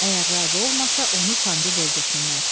Əgər razı olmasa, onu sancıb öldürsünlər.